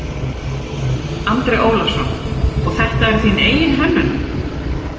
Andri Ólafsson: Og þetta er þín eigin hönnun?